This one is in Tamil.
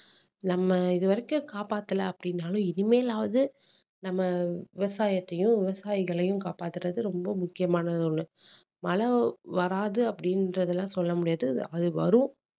நம்ம இதுவரைக்கும் காப்பாத்தல அப்படீன்னாலும் இனிமேலாவது நம்ம விவசாயத்தையும் விவசாயிகளையும் காப்பாத்துறது ரொம்ப முக்கியமான ஒண்ணு மழை வராது அப்படீன்றதெல்லாம் சொல்ல முடியாது அது வரும்